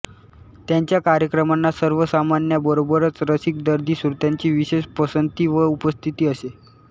त्यांच्या कार्यक्रमांना सर्वसामान्यांबरोबरच रसिक दर्दी श्रोत्यांची विशेष पसंती व उपस्थिती असे